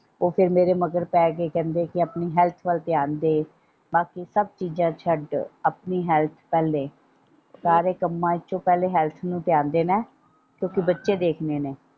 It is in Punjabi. ਉਹ ਫੇਰ ਮੇਰੇ ਮਗਰ ਪੈ ਗਏ ਕਹਿੰਦੇ ਕਿ ਆਪਣੀ ਹੈਲਥ ਵੱਲ ਧਿਆਨ ਦੇ ਬਾਕੀ ਸਬ ਚੀਜਾਂ ਛੱਡ ਦੇ ਆਪਣੀ ਹੈਲਥ ਵੱਲ ਦੇਖ ਸਾਰੇ ਕੰਮਾਂ ਦੇ ਵਿੱਚੋਂ ਪਹਿਲੇ ਹੈਲਥ ਨੂੰ ਧਿਆਨ ਦੇਣਾ ਹੈ ਕਿਉਂਕਿ ਬੱਚੇ ਦਿਖਾਂਦੇ ਨੇ।